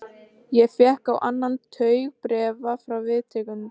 Ég fékk á annan tug bréfa frá viðtakendum.